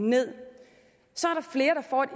med